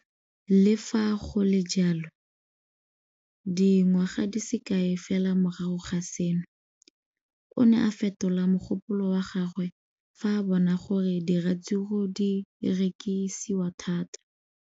Le fa go le jalo, dingwaga di se kae fela morago ga seno, o ne a fetola mogopolo wa gagwe fa a bona gore diratsuru di rekisiwa thata.